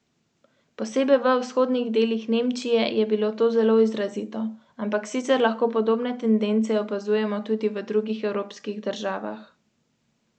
Vsi udeleženci konvencije pa naj bi dobili priložnost, da predsednika vidijo v živo.